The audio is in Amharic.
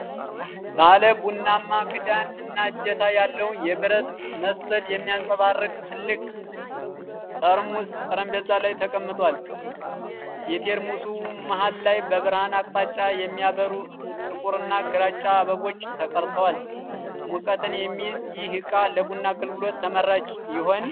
ባለ ቡናማ ክዳን እና እጀታ ያለው፣ ብረት መሰል የሚያንጸባርቅ ትልቅ ቴርሞስ ጠረጴዛ ላይ ተቀምጧል። የቴርሞሱ መሃል ላይ በብርሃን አቅጣጫ የሚያበሩ ጥቁርና ግራጫ አበቦች ተቀርጸዋል። ሙቀትን የሚይዝ ይህ እቃ ለቡና አገልግሎት ተመራጭ ይሆን?